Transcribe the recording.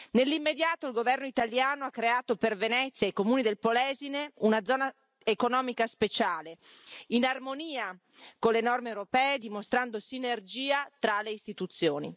Nell'immediato il governo italiano ha creato per Venezia e i comuni del Polesine una zona economica speciale, in armonia con le norme europee e dimostrando sinergia tra le Istituzioni.